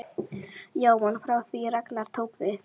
Jóhann: Frá því að Ragnar tók við?